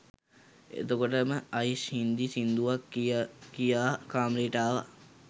එතකොටම අයිෂ් හින්දි සිංදුවක් කිය කියා කාමරේට ආවා